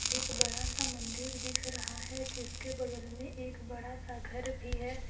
एक बड़ा सा मंदिर दिख रहा है जिसके बगल में एक बड़ा सा घर भी है।